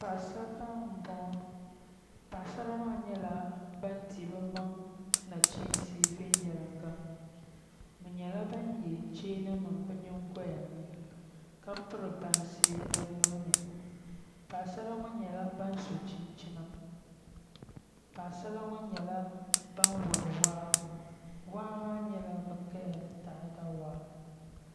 Papasara n bɔŋɔ paɣisara maa nyɛla ban di bɛmaŋ naɣichinsi viɛnyɛlinga bɛ nyɛla ban yɛ chaan nim bɛ nyin goyani ka piri bansi bɛ nuhuni paɣasara ŋɔ nyɛla ban so chinchina Paɣasara ŋɔ nyɛla ban wari waa waamaa nyula bɛ kaya ni taada waa